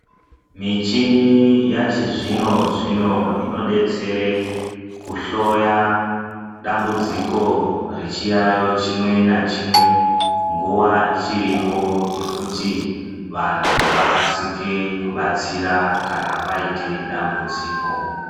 Michini yachizvinzvino inodetsera kuhloya dambudziko rechiyayo chimwe nachimwe nguwa ichiripo yekuti vanthu vakasike kubatsira kana paite dambudziko.